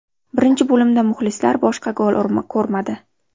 Birinchi bo‘limda muxlislar boshqa gol ko‘rmadi.